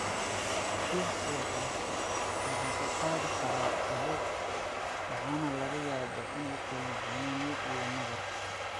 Fiix-ku waxa uu qaadi karaa caabuq waxana laga yaabaa in uu keeno xanuun iyo nabar.